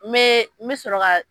N be, n bi sɔrɔ ka